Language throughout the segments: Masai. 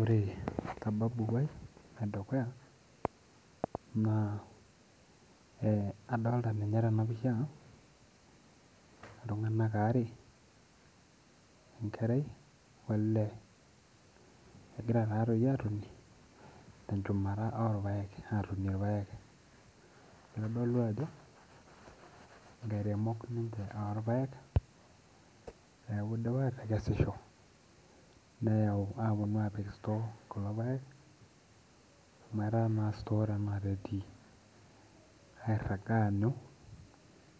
Ore sababu ai edukuya naa eh adolta ninye tena pisha iltung'anak aare enkerai olee egira taatoi atoni tenchumata orpayek egira atonie irpayek itodolu ajo inkairemok ninche orpayek neeku idipa atekesisho neyau aponu apik store kulo payek amu etaa naa store tenakata etii airrag aanyu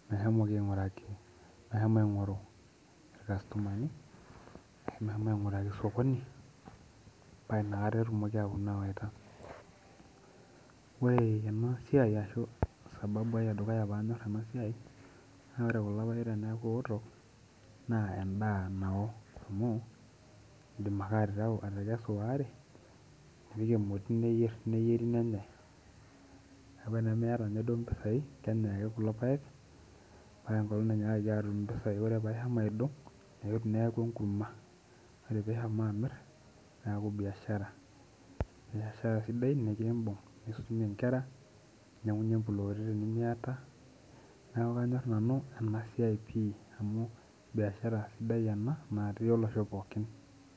meshomoki aing'uraki meshomo aing'oru irkastomani ashu meshomo aing'uraki sokoni paa inakata etumoki aetu awaita wore ena siai arashu sababu ai edukuya paanyorr ena siai naa ore kulo payek teniaku ewoto naa endaa nawo amu indim ake atereu atekesu waare nipik emoti neyieri nenyae neku enimiata ninye duo impisai kenyae ake kulo payek mpaka enkolong nainyiakaki atum impisai ore paishomo aidong eke neeku enkurma ore pishomo amirr neeku biashara sidai nikimbug nisumie inkera ninyiang'unyie imploti tenimiata neku kanyorr nanu ena siai pii amu biashara sidai ena natii olosho pookin.